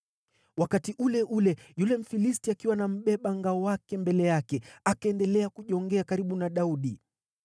Wakati ule ule, yule Mfilisti, akiwa na mbeba ngao wake mbele yake, akaendelea kujongea karibu na Daudi.